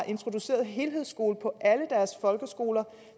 introduceret helhedsskolen på alle deres folkeskoler